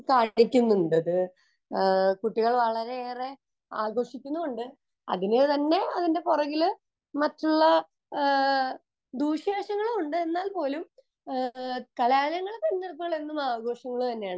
കുട്ടികൾ വളരെയേറെ ആകര്ഷിക്കുന്നുമുണ്ട് അതിനു തന്നെ അതിന്റെ പുറകിൽ മറ്റുള്ള ദൂഷ്യ വശങ്ങളും ഉണ്ട് എന്നാൽ പോലും കലാലയങ്ങൾ എന്നുവച്ചാൽ എന്നും ആഘോഷങ്ങൾ തന്നെയാണ്